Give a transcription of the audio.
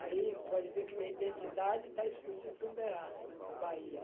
Aí, pode ver que minha identidade está escrita em Ituberá, Bahia.